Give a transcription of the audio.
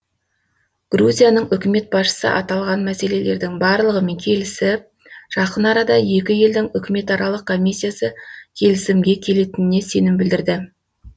грузияның үкімет басшысы аталған мәселелердің барлығымен келісіп жақын арада екі елдің үкіметаралық комиссиясы келісімге келетініне сенім білдірді